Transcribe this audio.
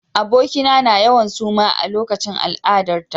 Abokina na yawan suma a lokacin al'adarta.